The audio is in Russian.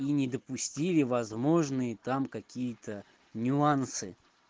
и не допустили возможные там какие-то нюансы